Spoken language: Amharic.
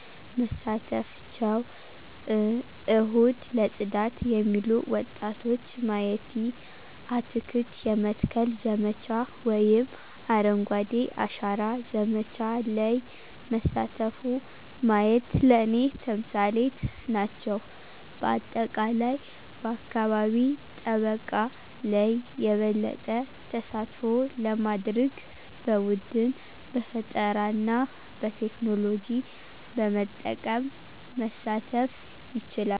መሳተፍቸው፣ እሁድ ለጽዳት የሚሉ ወጣቶች ማየቲ፣ አትክልት የመትከል ዘመቻ ወይም አረንጓዴ አሻራ ዘመቻ ለይ መሳተፉ ማየት ለኔ ተምሳሌት ናቸው። በአጠቃላይ በአካባቢ ጠበቃ ለይ የበለጠ ተሳትፎ ለማድርግ በቡድን፣ በፈጠራና በቴክኖሎጂ በመጠቀም መሳተፍ ይቻላሉ።